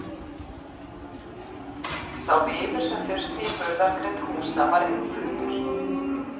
Sá viður sem þurfti í burðargrind húsa var innfluttur.